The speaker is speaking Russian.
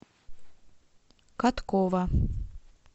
каткова